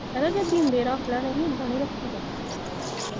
ਕਹਿੰਦਾ ਜੇ ਦਾ ਹੈ ਤਾਂ ਨਹੀਂ ਰੱਖੀਦਾ